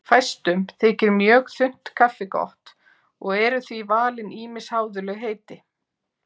Fæstum þykir mjög þunnt kaffi gott og eru því valin ýmis háðuleg heiti.